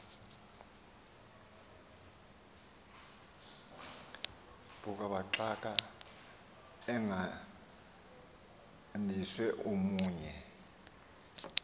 buxhakaxhaka egadiswe omnye